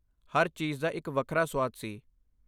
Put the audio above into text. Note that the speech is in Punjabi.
ਹਰ ਚੀਜ਼ ਦਾ ਇੱਕ ਵੱਖਰਾ ਸੁਆਦ ਸੀ।